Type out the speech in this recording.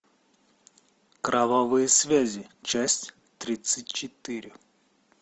кровавые связи часть тридцать четыре